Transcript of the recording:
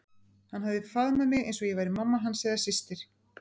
Hann hafði faðm- að mig eins og ég væri mamma hans eða systir.